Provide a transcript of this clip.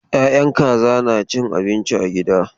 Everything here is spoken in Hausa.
Ya'yan kaza na cin abinci a gida.